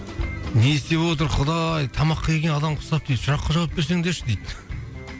не істеп отыр құдай тамаққа келген адамға ұқсап дейді сұраққа жауап берсеңдерші дейді